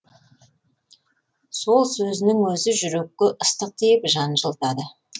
сол сөзінің өзі жүрекке ыстық тиіп жан жылытады